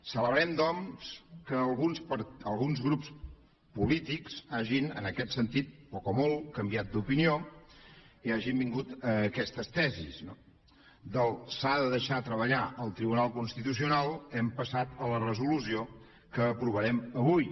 celebrem doncs que alguns grups polítics hagin en aquest sentit poc o molt canviat d’opinió i hagin vingut a aquestes tesis no del s’ha de deixar treballar al tribunal constitucional hem passat a la resolució que aprovarem avui